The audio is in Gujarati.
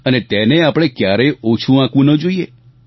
અને તેને આપણે ક્યારેય ઓછું આંકવું ન જોઈએ